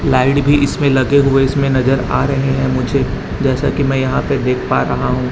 Light भी इसमें लगे हुए इसमें नजर आ रहे हैं मुझे जैसा कि मैं यहां पर देख पा रहा हूं।